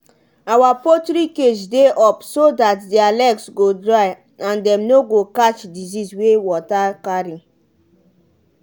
our poultry cage dey up so dat their legs go dry and dem no go catch disease wey water carry.